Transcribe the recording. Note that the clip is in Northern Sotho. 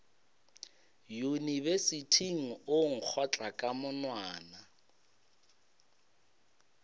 yunibesithing o nkgotla ka monwana